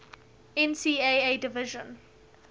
ncaa division